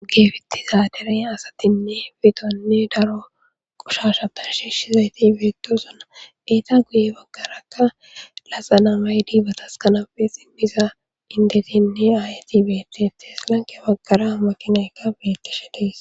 Geefitti zaaderen asatinne fidonne daro qushashapan shiishshizayti beetosuna eeta guye baggaraakka lasa namay diibatas kanape simmiza indetinne aayatibetetieslanke baggara maqinaykka bilettisha diis.